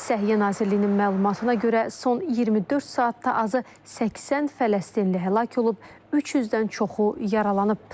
Səhiyyə Nazirliyinin məlumatına görə son 24 saatda azı 80 fələstinli həlak olub, 300-dən çoxu yaralanıb.